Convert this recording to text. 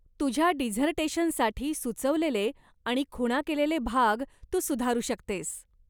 तुझ्या डिझर्टेशनसाठी सुचवलेले आणि खुणा केलेले भाग तू सुधारू शकतेस.